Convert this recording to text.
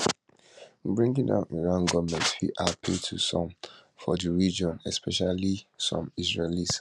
bringing down iran goment fit appeal to some for di region especially some israelis